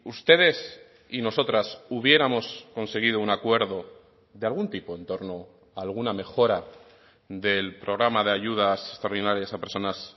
ustedes y nosotras hubiéramos conseguido un acuerdo de algún tipo en torno a alguna mejora del programa de ayudas extraordinarias a personas